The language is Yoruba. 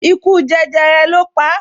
Ikú jẹjẹrẹ lo pa